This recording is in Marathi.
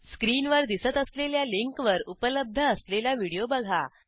स्क्रीनवर दिसत असलेल्या लिंकवर उपलब्ध असलेला व्हिडिओ बघा